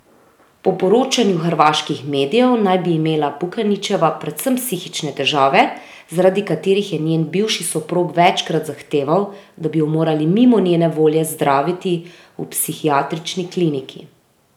Po poročanju hrvaških medijev naj bi imela Pukanićeva predvsem psihične težave, zaradi katerih je njen bivši soprog večkrat zahteval, da bi jo morali mimo njene volje zdraviti v psihiatrični kliniki.